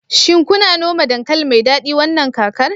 shin kuna noma dankali mai dadi wannan kakar